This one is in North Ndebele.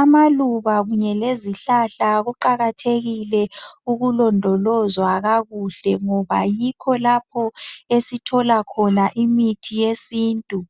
Amaluba kunye lezihlahla kuqakathekile ukulondolozwa kakuhle ngoba yikho lapho esithola khona imithi yesintu